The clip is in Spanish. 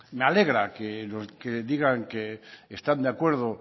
me alegra que digan que están de acuerdo